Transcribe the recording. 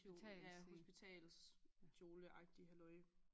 Ja hospitalskjoleagtig halløj